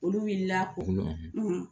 Olu wulila